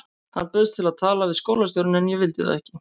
Hann bauðst til að tala við skólastjórann en ég vildi það ekki.